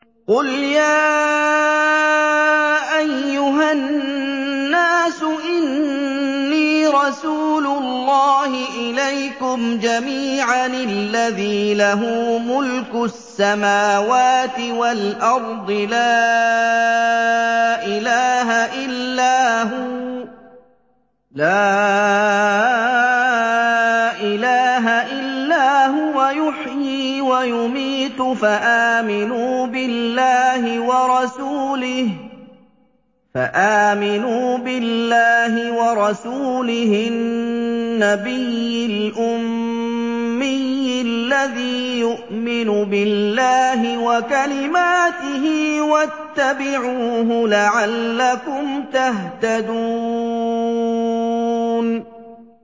قُلْ يَا أَيُّهَا النَّاسُ إِنِّي رَسُولُ اللَّهِ إِلَيْكُمْ جَمِيعًا الَّذِي لَهُ مُلْكُ السَّمَاوَاتِ وَالْأَرْضِ ۖ لَا إِلَٰهَ إِلَّا هُوَ يُحْيِي وَيُمِيتُ ۖ فَآمِنُوا بِاللَّهِ وَرَسُولِهِ النَّبِيِّ الْأُمِّيِّ الَّذِي يُؤْمِنُ بِاللَّهِ وَكَلِمَاتِهِ وَاتَّبِعُوهُ لَعَلَّكُمْ تَهْتَدُونَ